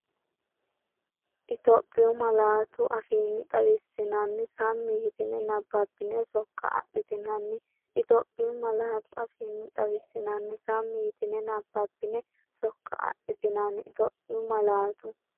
Itophiyu malaatu afiinni xawissinanni; sammi yitine nabbabbine sok- adhitinanni Itophiyu malaatu afiinni xawissinanni; sammi yitine nabbabbine sok- adhitinanni Itophiyu malaatu.